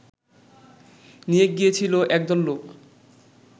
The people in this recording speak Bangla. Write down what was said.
নিয়ে গিয়েছিল একদল লোক